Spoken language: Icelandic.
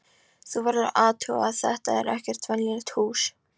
Þú verður að athuga að þetta er ekkert venjulegt hús.